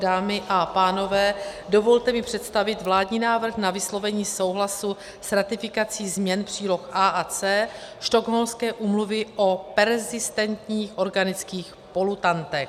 Dámy a pánové, dovolte mi představit vládní návrh na vyslovení souhlasu s ratifikací změn příloh A a C Stockholmské úmluvy o perzistentních organických polutantech.